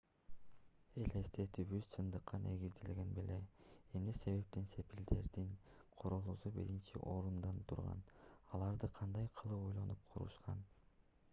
элестетүүбүз чындыкка негизделген беле эмне себептен сепилдердин курулуусу биринчи орунда турган аларды кандай кылып ойлонуп курушкан